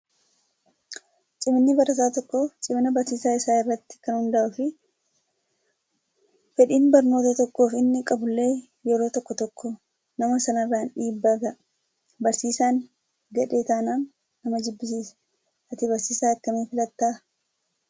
Ciminni barataa tokkoo cimina barsiisaa isaa irratti kan hundaa'uu fi fedhiin barnoota tokkoof inni qabullee yeroo tokko tokko nama sanarraan dhiibbaa gaha. Barsiisaan gadhee taanaan nama jibbisiisa. Ati barsiisaa akkamii filattaa?